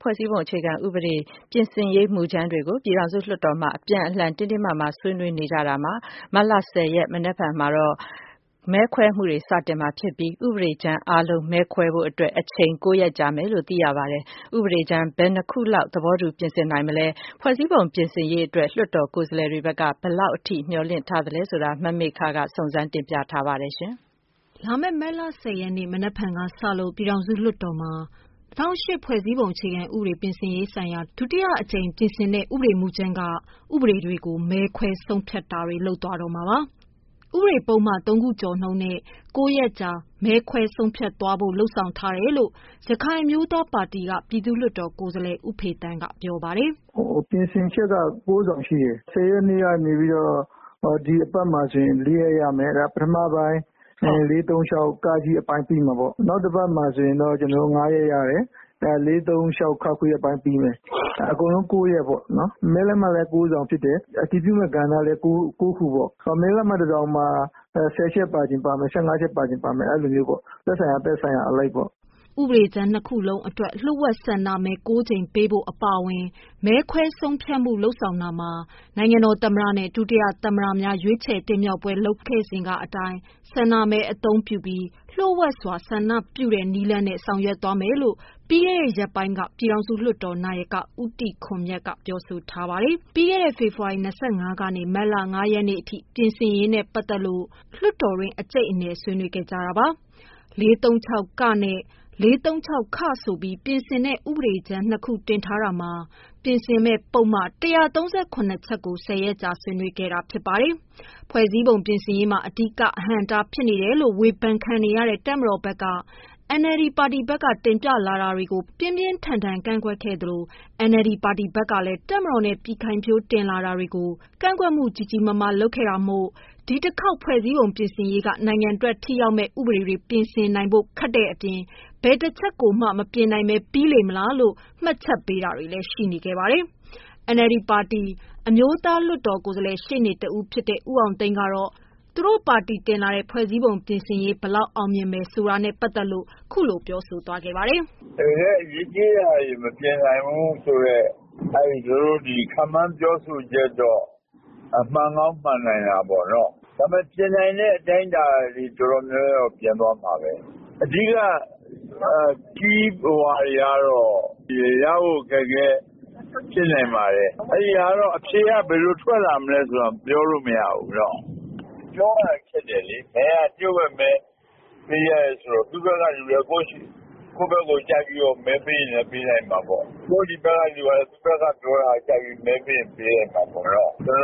ဖွဲ့စည်းပုံ အခြေခံဥပဒေပြင်ဆင်ရေး မူကြမ်းတွေကို ပြည်ထောင်စုလွှတ်တော်မှာ အပြန်အလှန်တင်းတင်းမာမာ ဆွေးနွေးနေကြရာမှာ မတ်လ ၁၀ ရက်နေ့ မနက်ဖြန်မှာတော့ မဲခွဲမှုတွေ စတင်မှာဖြစ်ပြီး ဥပဒေကြမ်းအားလုံးမဲခွဲဖို့ အချိန် ၉ ရက်ကြာမယ်လို့ သိရပါတယ်။ ဥပဒေကြမ်း ဘယ်နှစ်ခုလောက် သဘောတူပြင်ဆင်နိုင်မလဲ၊ ဖွဲ့စည်းပုံပြင်ဆင်ရေးအတွက် လွှတ်တော်ကိုယ်စားလှယ်တွေဘက်က ဘယ်လောက်ထိ မျှော်လင့်ထားလဲ.. မမေခ စုံစမ်းမေးမြန်းထားပါတယ်။ လာမယ့် မတ်လ ၁၀ ရက်နေ့ မနက်ဖြန်ကစလို့ ပြည်ထောင်စုလွှတ်တော်မှာ ၂၀၀၈ ဖွဲ့စည်းပုံအခြေခံဥပဒေ ပြင်ဆင်ရေးဆိုင်ရာ ဒုတိယအကြိမ် ဥပဒေမူကြမ်း က ဥပဒေတွေကို မဲခွဲ ဆုံးဖြတ်တာတွေ လုပ်သွားတော့မှာပါ။ တနေ့မှာ ဥပဒေ ပုဒ်မ ၃ခုနှုန်းနဲ့ ၉ ရက်ကြာ မဲခွဲဆုံးဖြတ်သွားဖို့ လုပ်ဆောင်ထားတယ်လို့ ရခိုင်အမျိုးသားပါတီက ပြည်သူ့လွှတ်တော်ကိုယ်စားလှယ် ဦးဖေသန်းက ပြောပါတယ်။ "ပြင်ဆင်ချက် က ၉ စောင်ရှိတယ်။ ၁၀ ရက်နေ့ကနေပြီးတော့ ဒီအပတ်မှာဆို ၄ရက် ရမယ်။ ပထမအပိုင်း ၄၃၆(က) အပိုင်းပြီးမယ်ပေါ့။ နောက်တပတ်မှာဆိုရင်တော့ ကျနော်တို့ ၅ရက်ရတယ်။ ၄၃၆(ခ) အပိုင်းပြီးမယ်။ အကုန် ၉ ရက်ပေါ့၊ မဲလက်မှတ်လည်း ၉ စောင် ဖြစ်တယ်။ အတည်ပြုမယ့် ကဏ္ဍလည်း ၉ ခု၊ မဲလက်မှတ် တစောင်မှာ ၁၀ချက်ပါချင် ပါမယ်။ ၁၅ချက် ပါချင်ပါမယ်။ အဲလိုသက်ဆိုင်ရာအလိုက်ပေါ့။" ဥပဒေ ကြမ်း ၂ ခု လုံး အတွက် လျို့ဝှက် ဆန္ဒမဲ ၉ ကြိမ် ပေးဖို့ အပါအဝင် မဲခွဲဆုံးဖြတ်မှုလုပ်ဆောင်တာမှာ နိုင်ငံတော် သမ္မတနဲ့ ဒုတိယ သမ္မတများ ရွေးချယ်တင်မြှောက်ပွဲ ကျင်းပစဉ်က လုပ်ငန်းစဉ်များ အတိုင်း အခြေခံ၍ ဆန္ဒမဲအသုံးပြုပြီး လျှို့ဝှက်စွာ ဆန္ဒပြုတဲ့ နည်းလမ်းနဲ့ ဆောင်ရွက်သွားမယ်လို့ ပြီးခဲ့တဲ့ ရက်ပိုင်းက ပြည်ထောင်စုလွှတ်တော် နာယက ဦးတီခွန်မြတ်က ပြောဆိုထားပါတယ်။ ပြီးခဲ့တဲ့ ဖေဖော်ဝါရီလ ၂၅ ရက်ကနေ မတ်လ ၅ ရက်အထိ ပြင်ဆင်ရေးနဲ့ ပတ်သတ်လို့ လွှတ်တော်တွင်း အကြိတ်အနယ်ဆွေးနွေးခဲ့ ကြတာပါ။ ၄၃၆(က)နဲ့ ၄၃၆(ခ)ဆို ပြီး ပြင်ဆင်တဲ့ ဥပဒေကြမ်း ၂ခု တင်ထားတာ မှာ ပြင်ဆင်မယ့်ပုဒ်မ ၁၃၇ ချက်ကို ၁၀ရက် ကြာဆွေးနွေးခဲ့တာဖြစ်ပါတယ်။ ဖွဲ့စည်းပုံ ပြင်ဆင်ရေးမှာ အဓိကအဟန့်အတား ဖြစ်နေတယ်လို့ ဝေဖန်ခံနေရတဲ့ တပ်မတော် ဘက်က NLD ပါတီဘက်က တင်ပြလာတာတွေ ကို ပြင်းပြင်းထန်ထန် ကန့်ကွက်ထားသလို NLD ပါတီဘက်ကလည်း တပ်မတော်နဲ့ ပြည်ခိုင်ဖြိုး တင်လာတာတွေ ကို ကန့်ကွက်မှု ကြီးကြီးမားမား လုပ်ထားတာမို့ ဒီတခေါက် ဖွဲ့စည်းပုံပြင်ဆင်ရေး က နိုင်ငံအတွက် ထိရောက်မယ့် ဥပဒေတွေ ပြင်နိုင်ဖို့ခက်တဲ့ အပြင် ဘယ်တချက်ကိုမှ မပြင်နိုင်ဘဲ ပြီးမလားဆိုတဲ့ မှတ်ချက်ပေးတာတွေလည်း ရှိနေပါတယ်။ NLD ပါတီ အမျိုးသားလွတ်တော်ကိုယ်စားလှယ် ရှေ့နေ တဦး ဖြစ်တဲ့ ဦးအောင်သိန်းကတော့ သူတို့ပါတီ တင်လာတဲ့ ဖွဲ့စည်းပုံ ပြင်ဆင်ရေး ဘယ်လောက် အောင်မြင်မယ်ဆိုတာနဲ့ ပတ်သတ်လို့ ခုလို ပြောပါတယ်။ "တကယ့်အရေးကြီးတာတွေ မပြင်နိုင်ဘူးဆိုတဲ့ သူတို့ ခန့်မှန်းပြောဆိုတာတွေ မှန်ကောင်းမှန်နိုင်တာပေါ့။ ပြင်နိုင်တဲ့ အတိုင်းတာတွေ တော်တော်များများတော့ ပြင်သွားမှာပဲ။ အဓိက ကီးတွေကတော့ ရဖို့ ခက်ခဲဖြစ်နိုင်ပါတယ်။ အဖြေဘယ်လို ထွက်မလဲဆိုတာတော့ ပြောလို့မရသေးဘူး။ ပြောရခက်တယ်လေ။ မဲက လျှို့ဝှက်မဲဆိုတော့ သူတို့ဘက်ကလူလည်း ကိုယ့်ဘက်ကို ကြိုက်ပြီး မဲပေးရင်လည်းပေးလိုက်မှာပေါ့။ ကိုယ့်ဒီဘက်ကလူကလည်း သူ့ဘက်က သဘောထားကို ကြိုက်ပြီး မဲပေးရင် ပေးလိုက်မှာပေါ့။ ကျနော်တို့က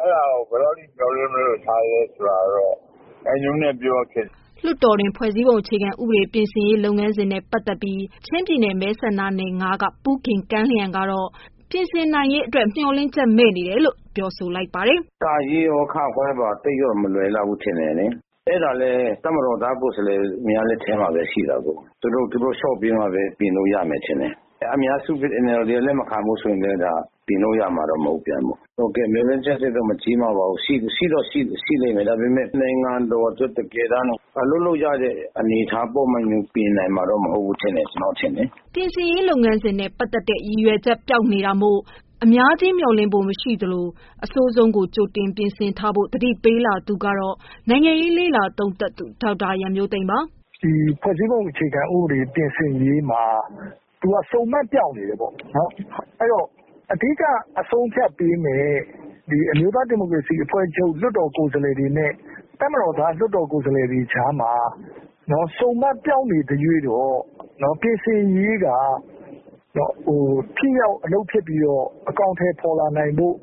အဲ့ဒါကို ဘယ်လောက်မျှော်လင့်သလဲဆိုတာ ရာခိုင်နှုန်းနဲ့ ပြောရခက်တယ်။" လွှတ်တော်တွင်း ဖွဲ့စည်းပုံ အခြေခံဥပဒေ ပြင်ဆင်ရေးလုပ်ငန်းစဉ် နဲ့ ပတ်သက်ပြီး ချင်းပြည်နယ်မဲဆန္ဒနယ် ၅ က ပူးဂင်ကမ်းလျန်က တော့ ပြင်ဆင်နိုင်ရေး မျှော်လင့်ချက်မဲ့နေတယ်လို့ ပြောဆိုလိုက်ပါတယ်။ "(က)ရော (ခ)ပါ သိပ်တော့မလွယ်လောက်ဘူး ထင်တယ်လေ။ အဲ့ဒါလည်း တပ်မတော်များ ကိုယ်စားလှယ်များ လက်ထဲမှာပဲ ရှိတယ်။ သူတို့ လျှော့ ပေးမှ ပြင်လို့ရမယ် ထင်တယ်။ အများစု NLD လက်မခံရင်လည်း ပြင်လို့ရမှာတော့ မဟုတ်ပြန်ဘူး။ မျှော်လင့်ချက်မကြီးမားပါဘူး၊ ရှိတော့ ရှိလိမ့်မယ်။ ဒါပေမဲ့ နိုင်ငံ အတွက် တကယ်အလုပ်လုပ်လို့ ရတဲ့ ပုဒ်မတွေတော့ ပြင်နိုင်မှာမဟုတ်ဘူးလို့ထင်တယ်။" ပြင်ဆင်ရေး လုပ်ငန်းစဉ်နဲ့ပတ်သတ် တဲ့ ရည်ရွယ်ချက်ပျောက် နေတာမို့ အများကြီး မျှော်လင့်ဖို့ မရှိဘူးလို့ ဆိုလာသူက နိုင်ငံရေးလေ့လာသုံးသပ်သူ ဒေါက်တာ ရန်မျိုးသိမ်းပါ။ "ဒီ ဖွဲ့စည်းပုံ အခြေခံ ဥပဒေ ပြင်ဆင်ရေးမှာ သူက ဆုံမှတ် ပျောက်နေတယ်။ အဓိက ဆုံးဖြတ်ပေးမယ့် အမျိုးသား ဒီမိုကရေစီအဖွဲ့ချုပ် လွှတ်တော် ကိုယ်စားလှယ်တွေန တပ်မတော်သား လွှတ်တော် ကိုယ်စားလှယ်တွေကြားမှာ ဆုံမှတ်ပျောက်နေသရွေ့တော့ ပြင်ဆင်ရေးက ထိရောက်အလုပ်ဖြစ်ပြီးတော့ အကောင်အထည်ဖော်လာဖို့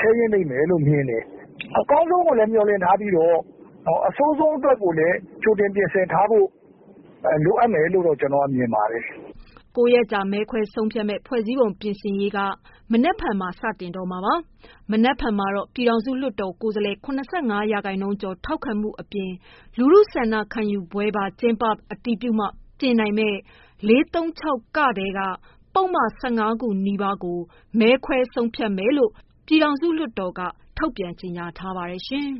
ခဲရင်းလိမ့်မယ်လို့ မြင်တယ်။ အကောင်းဆုံးကို မျှော်လင့်ပြီး အဆိုးဆုံးကို ကြိုတင် ပြင်ထားဖို့ လိုအပ်မယ်လို့ ကျနော်မြင်ပါတယ်။" ၉ ရက်ကြာ မဲခွဲဆုံးဖြတ်မယ့် ဖွဲ့စည်းပုံ ပြင်ဆင်ရေး က မနြက်ဖန်မှ စတင်မှာပါ။ မနက်ဖန်မှာတော့ ပြည်ထောင်စု လွှတ်တော်ကိုယ်စားလှယ် ၇၅ ရာခိုင်နှုန်းကျော် ထောက်ခံမှုအပြင် လူထုဆန္ဒခံယူပွဲပါ ကျင်းပ အတည်ပြုမှ ပြင်နိုင်မယ့် ၄၃၆(က) ထဲက ပုဒ်မ ၁၅ခုနီးပါး မဲခွဲ ဆုံးဖြတ်မယ်လို့ ပြည်ထောင်စုလွှတ်တော်က ထုတ်ပြန်ထားပါတယ်ရှင်။